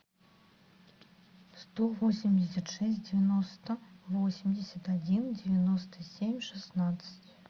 сто восемьдесят шесть девяносто восемьдесят один девяносто семь шестнадцать